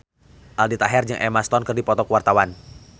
Aldi Taher jeung Emma Stone keur dipoto ku wartawan